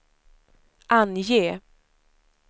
ange